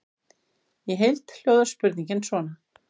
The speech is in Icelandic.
Í heild hljóðar spurningin svona: